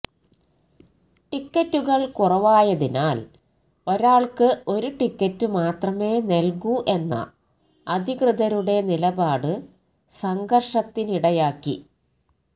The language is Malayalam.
ടിക്കറ്റുകള് കുറവായതിനാല് ഒരാള്ക്ക് ഒരു ടിക്കറ്റ് മാത്രമേ നല്കൂ എന്ന അധികൃതരുടെ നിലപാട് സംഘര്ഷത്തിനിടയാക്കി